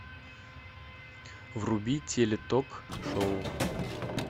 вруби теле ток шоу